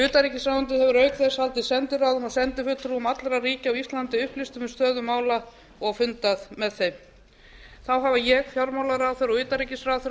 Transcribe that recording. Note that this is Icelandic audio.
utanríkisráðuneytið hefur auk þess haldið sendiráðum og sendifulltrúum allra ríkja á íslandi upplýstum um stöðu mála og fundað með þeim þá hafa ég fjármálaráðherra og utanríkisráðherra